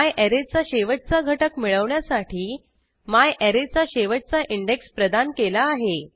म्यारे चा शेवटचा घटक मिळवण्यासाठी म्यारे चा शेवटचा इंडेक्स प्रदान केला आहे